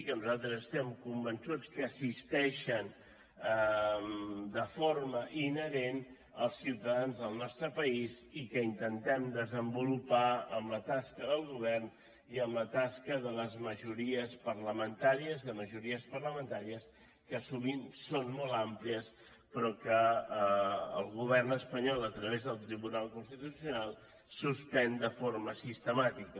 que nosaltres estem convençuts que assisteixen de forma inherent els ciutadans del nostre país i que intentem desenvolupar amb la tasca del govern i amb la tasca de les majories parlamentàries de majories parlamentàries que sovint són molt àmplies però que el govern espanyol a través del tribunal constitucional suspèn de forma sistemàtica